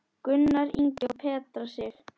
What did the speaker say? Gunnar Ingi og Petra Sif.